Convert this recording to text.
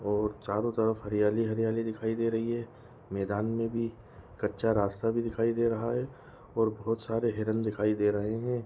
और चारो तरफ हरयाली-हरयाली दिखाई दे रही है मैदान में भी कच्चा रास्ता भी दिखाई दे रहा है और बहुत सारे हिरण दिखाई दे रहे है।